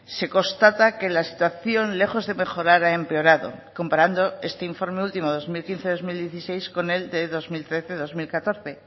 se constata que la situación lejos de mejorar a empeorado comparando este informe último dos mil quince dos mil dieciséis con el de dos mil trece dos mil catorce